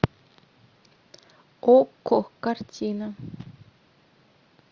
окко картина